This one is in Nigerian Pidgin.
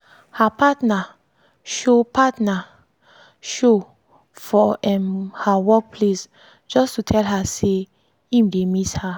her partner show partner show for um her work place just to tell her say im dey miss her.